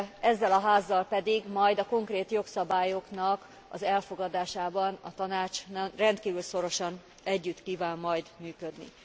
Ezzel a Házzal pedig majd a konkrét jogszabályoknak az elfogadásában a Tanács rendkívül szorosan együtt kíván majd működni.